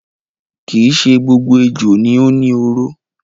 Kii ṣe gbogbo ejò ni ó ni oró.